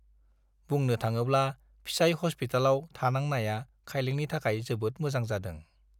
बुंनो थाङोब्ला फिसाइ हस्पितालाव थानांनाया खाइलेंनि थाखाय जोबोद मोजां जादों।